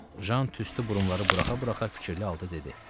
Jan tüstü burumları buraxa-buraxa fikirli halda dedi.